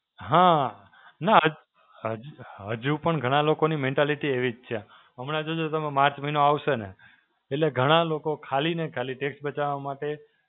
હાં, નાં હજ હજ હજુ પણ ઘણા લોકોની mentality એવી જ છે. હમણાં જો જો તમે માર્ચ મહિનો આવશે ને, એટલે ઘણા લોકો ખાલી ને ખાલી tax બચાવવા માટે